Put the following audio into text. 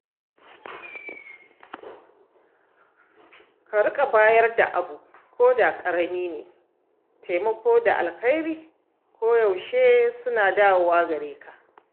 Ka riƙa bayar da abu koda ƙarami ne; taimako da alheri koyaushe suna dawowa gare ka.